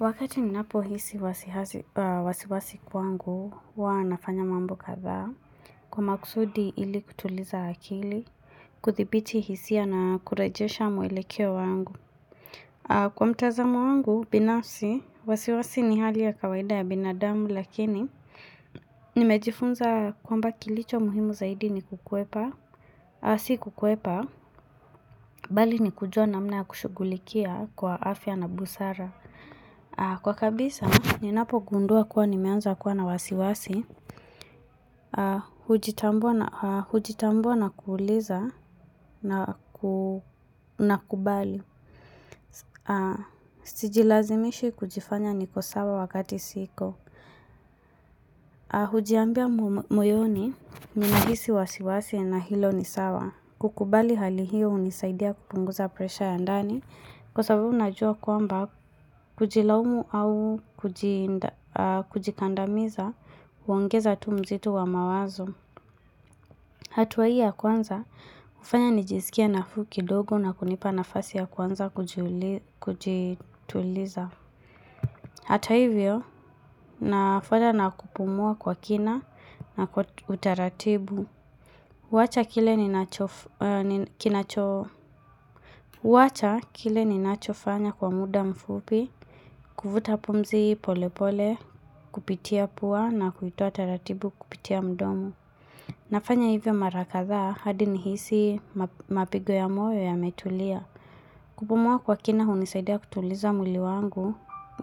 Wakati ninapo hisi wasiwasi kwa wangu uwa nafanya mambo kadhaa kwa makusudi ili kutuliza akili, kudhibiti hisia na kurejesha muelekeo wangu. Kwa mtazamo wangu binafsi wasiwasi ni hali ya kawaida ya binadamu lakini nimejifunza kwamba kilicho muhimu zaidi ni kuhepa, si kuheepa, bali ni kujua namna ya kushugulikia kwa afya na busara. Kwa kabisa, ninapogundua kuwa nimeanza kuwa na wasiwasi Hujitambua na kuuliza na kubali Sijilazimishi kujifanya niko sawa wakati siko Hujiambia moyoni, nikihisi wasiwasi na hilo ni sawa kukubali hali hiyo unisaidia kupunguza presha ya ndani Kwa sababu najua kwamba kujilaumu au kujikandamiza, uongeza hatua mzito wa mawazo. Hatuwa hii ya kwanza, ufanya nijisikie nafuu kidogo na kunipa nafasi ya kuanza kujituliza. Hata hivyo, nafanya na kupumua kwa kina na utaratibu. Kuwacha kile ninachofanya kwa muda mfupi, kuvuta pumzi polepole, kupitia pua na kuitoa taratibu kupitia mdomo. Nafanya hivyo mara kadhaa hadi nihisi mapigo ya moyo yametulia. Kupumua kwa kina hunisaidia kutuliza mwili wangu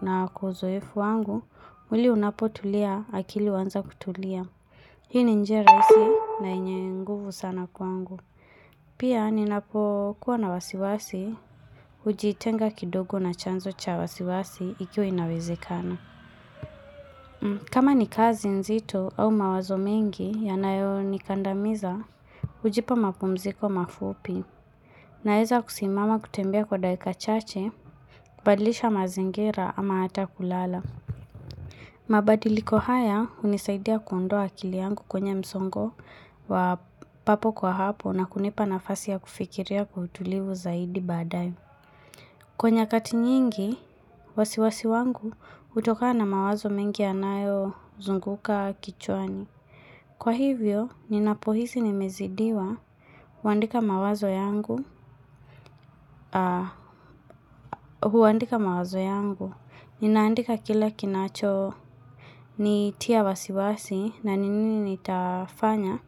na kwa uzoefu wangu, mwili unapotulia akili uanza kutulia. Hii ni njia rahisi na enye nguvu sana kwangu. Pia, ninapokuwa na wasiwasi, ujitenga kidogo na chanzo cha wasiwasi ikiwa inawezekana. Kama ni kazi nzito au mawazo mengi yanayonikandamiza, ujipa mapumziko mafupi. Naeza kusimama kutembea kwa dakika chache, kubadilisha mazingira ama hata kulala. Mabadiliko haya hunisaidia kuondoa akili yangu kwenye msongo wa papo kwa hapo na kunipa nafasi ya kufikiria kwa utulivu zaidi badae. Kwa nyakati nyingi, wasiwasi wangu utokana mawazo mengi yanayozunguka kichwani. Kwa hivyo, ninapohisi nimezidiwa huandika mawazo yangu, huandika mawazo yangu, ninaandika kila kinacho nitia wasiwasi na nini nitafanya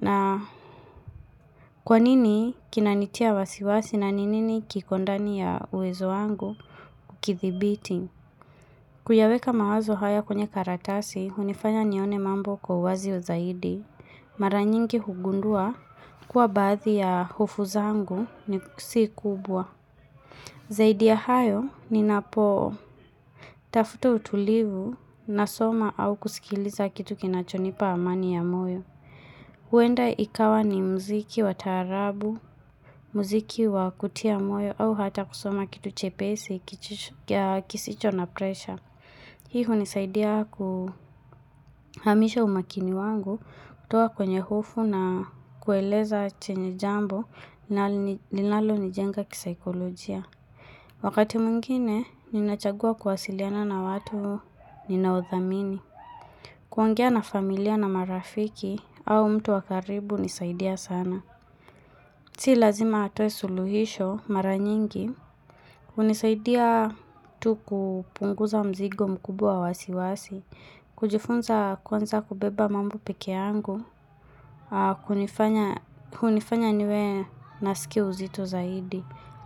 na kwa nini kinanitia wasiwasi na nini kiko ndani ya uwezo wangu ukithibiti. Kuyaweka mawazo haya kwenye karatasi, hunifanya nione mambo kwa wazio zaidi, mara nyingi hugundua kwa baadhi ya hufo zangu si kubwa. Zaidi ya hayo ninapootafuta utulivu nasoma au kusikiliza kitu kinachonipa amani ya moyo. Huenda ikawa ni mziki wa taarabu, mziki wa kutia moyo au hata kusoma kitu chepesi, kisicho na presha. Hii unisaidia kuhamisha umakini wangu, kutoa kwenye hofu na kueleza chenye jambo na linalonijenga kisaikolojia. Wakati mwingine, ninachagua kuwasiliana na watu ninaothamini. Kuongea na familia na marafiki au mtu wa karibu unisaidia sana. Si lazima atoe suluhisho mara nyingi. Unisaidia tu kupunguza mzigo mkubwa wa wasiwasi, kujifunza kwanza kubeba mambo pekeangu, kunifanya niwe nasikia uzito zaidi,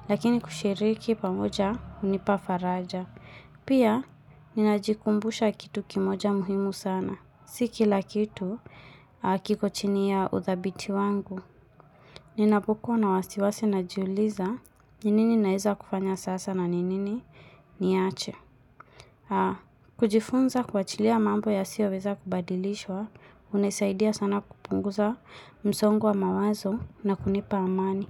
lakini kushiriki pamoja unipafaraja. Pia, ninajikumbusha kitu kimoja muhimu sana, si kila kitu kiko chini ya uthabiti wangu. Ninapokuwa na wasiwasi najiuliza, ni nini naeza kufanya sasa na ni nini niache. Kujifunza kuachilia mambo yasiyoweza kubadilishwa, unisaidia sana kupunguza msongo wa mawazo na kunipa amani.